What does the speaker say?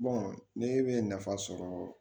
ne bɛ nafa sɔrɔ